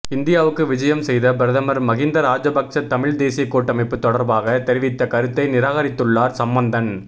இந்தியாவுக்கு விஜயம் செய்த பிரதமர் மகிந்த ராஜபக்ச தமிழ் தேசிய கூட்டமைப்பு தொடர்பாக தெரிவித்த கருத்தை நிராகரித்துள்ளார் சம்பந்தன்